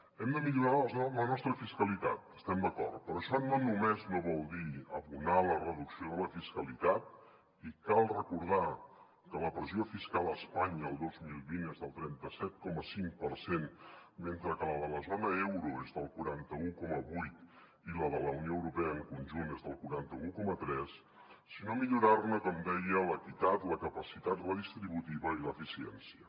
hem de millorar la nostra fiscalitat hi estem d’acord però això no només no vol dir abonar la reducció de la fiscalitat i cal recordar que la pressió fiscal a espanya el dos mil vint és del trenta set coma cinc per cent mentre que la de la zona euro és del quaranta un coma vuit i la de la unió europea en conjunt és del quaranta un coma tres sinó millorar ne com deia l’equitat la capacitat redistributiva i l’eficiència